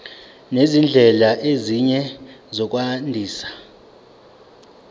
nezindlela ezinye zokwandisa